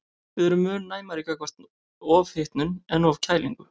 Við erum mun næmari gagnvart ofhitnun en ofkælingu.